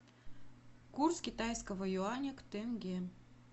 курс китайского юаня к тенге